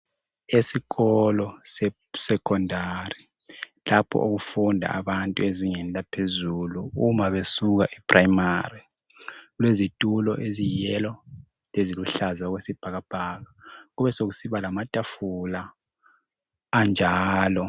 Esikolo sesekhondari lapho okufunda abantu ezingeni laphezulu nxa besuka esikolo semfundweni yaphansi. Kulezitulo ezilithanga leziluhlaza okwesibhakabhaka. Kubesokusiba lamatafula anjalo